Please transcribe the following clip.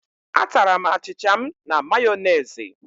A tara'm achịcha m na Mayonezi